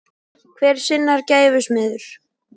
Hver er sinnar gæfu smiður